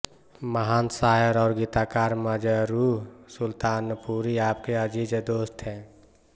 महान शायर और गीतकार मजरूह सुलतानपुरी आपके अज़ीज़ दोस्त थे